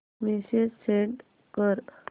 message send कर